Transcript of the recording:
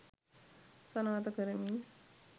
සනාථ කරමින්